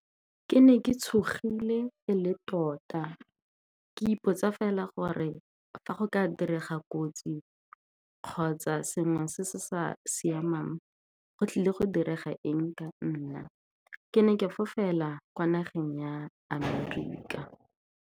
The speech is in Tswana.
Ke ne ke tshogile, e le tota ke ipotsa fela gore fa go ka direga kotsi kgotsa sengwe se se sa siamang, go tlile go direga eng ka nna. Ke ne ke fofela kwa nageng ya America.